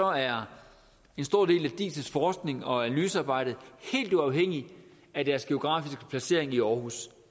er en stor del af diis forskning og analysearbejde helt uafhængig af deres geografiske placering i aarhus